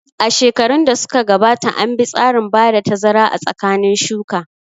A shekarun da suka gabata an bi tsarin bada tazara a tsakanin shuka